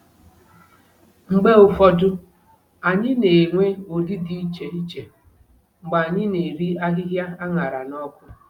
Mgbe ụfọdụ, anyị na-enwe ụdị dị iche iche mgbe anyị na-eri ahịhịa a ṅara n'ọkụ.